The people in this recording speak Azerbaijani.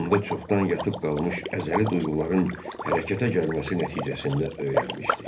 Onda çoxdan yatıb qalmış əzəli duyğuların hərəkətə gəlməsi nəticəsində öyrənmişdi.